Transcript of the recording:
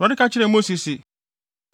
Awurade ka kyerɛɛ Mose se,